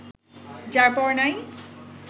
যার-পর-নাই